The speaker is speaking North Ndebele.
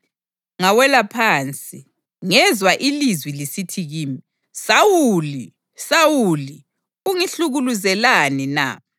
Ngawela phansi, ngezwa ilizwi lisithi kimi, ‘Sawuli! Sawuli! Ungihlukuluzelani na?’